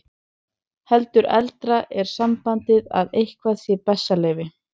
Heldur eldra er sambandið að eitthvað sé bessaleyfi.